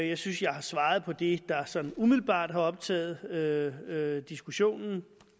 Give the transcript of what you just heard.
jeg synes jeg har svaret på det der sådan umiddelbart har optaget diskussionen